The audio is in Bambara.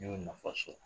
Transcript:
N y'o nafa sɔrɔ